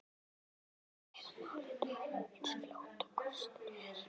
Við þurfum að ræða málin eins fljótt og kostur er.